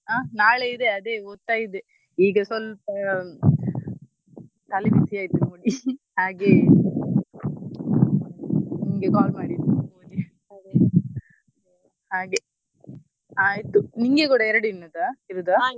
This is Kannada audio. ಹಾ ನಾಳೆ ಇದೆ ಅದೇ ಓದ್ತಾ ಇದ್ದೇ ಈಗ ಸ್ವಲ್ಪ ತಲೆಬಿಸಿ ಆಯ್ತು ನೋಡಿ ಹಾಗೆ ನಿಂಗೆ call ಮಾಡಿದ್ದು ಹಾಗೆ ಆಯ್ತು ನಿಂಗೆ ಕೂಡ ಎರಡೇ ಇರುದಾ?